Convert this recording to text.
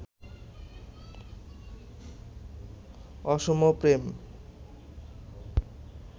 অসম প্রেম